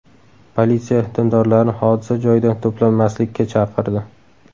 Politsiya dindorlarni hodisa joyida to‘planmaslikka chaqirdi.